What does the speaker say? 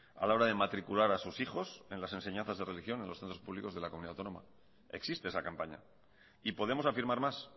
a la hora de matricular a sus hijos en las enseñanzas de religión en los centros públicos de la comunidad autónoma existe esa campaña y podemos afirmar más